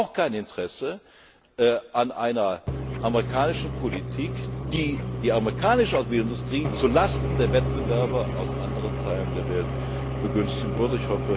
würde. Wir haben aber auch kein Interesse an einer amerikanischen Politik, die die amerikanische Automobilindustrie zu Lasten der Wettbewerber aus anderen Teilen der Welt begünstigen